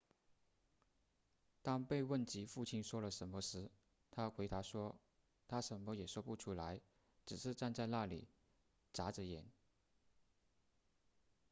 当被问及父亲说了什么时她回答说他什么也说不出来只是站在那里眨着眼